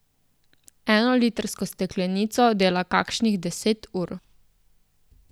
Eno litrsko steklenico dela kakšnih deset ur.